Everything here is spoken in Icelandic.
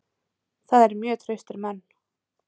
Það eru mjög traustir menn.